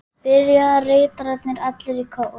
spyrja ritararnir allir í kór.